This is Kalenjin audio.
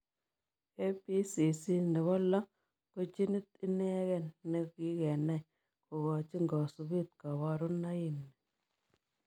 ABCC nepo loo ko ginit inegei nekikenai kokachiin kasupeet kabaruno nii.